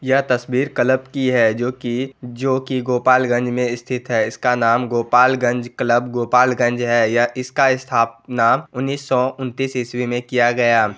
यह तस्वीर क्लब की है जोकि-जोकि गोपालगंज में स्थित है| इसका नाम गोपालगंज क्लब गोपालगंज है| यह इसका स्थापना उन्नीस सौ उनतीस इसवी में किया गया।